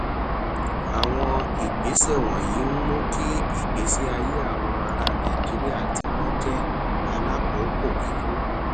àwọn ìgbésẹ wònyí ń mú kí ìgbésí ayé àwọn ará nàìjíríà tí wọn jé alákòókò kíkún